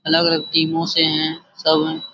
अलग-अलग टीमों से है सब है।